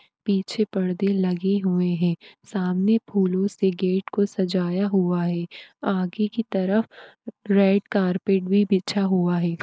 पीछे पर्दे लगे हुए है सामने फूलो से गेट को सजाया हुआ है आगे की तरफ रेड कार्पेट --